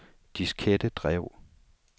diskettedrev